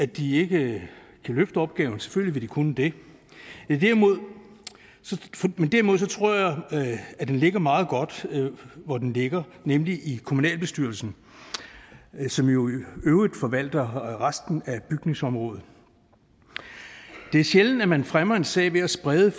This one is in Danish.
de ikke kan løfte opgaven selvfølgelig vil de kunne det men derimod tror jeg at den ligger meget godt der hvor den ligger nemlig i kommunalbestyrelsen som jo i øvrigt forvalter resten af bygningsområdet det er sjældent at man fremmer en sag ved at sprede